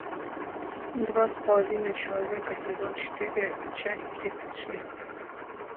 два с половиной человека сезон четыре часть тридцать шесть